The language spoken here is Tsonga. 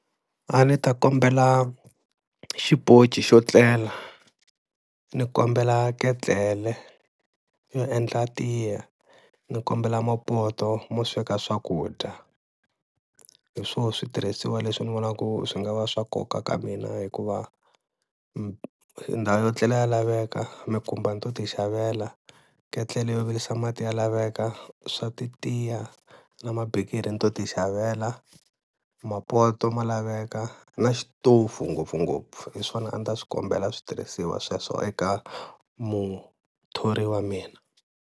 A ni ta kombela xiponci xo tlela ni kombela ketlele yo endla tiya, ni kombela mapoto mo sweka swakudya. Hi swona switirhisiwa leswi ni vonaka ku swi nga va swa nkoka ka mina, hikuva ndhawu yo etlela ya laveka, mikumba ni to ti xavela, ketlele yo virisa mati ya laveka swa ti tiya na mabikiri ni to ti xavela, mapoto ma laveka na xitofu ngopfungopfu hi swona a ndzi ta swi kombela switirhisiwa sweswo eka muthori wa mina.